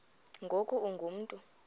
ngoku ungu mntu